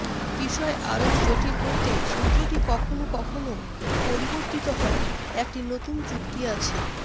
বিষয় আরও জটিল করতে সূত্রটি কখনও কখনও পরিবর্তিত হয় একটি নতুন চুক্তি আছে